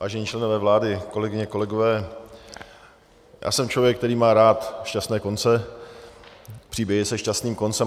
Vážení členové vlády, kolegyně, kolegové, já jsem člověk, který má rád šťastné konce, příběhy se šťastným koncem.